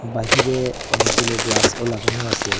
বাহিরে অনেকগুলো গ্লাসও লাগানো আসে।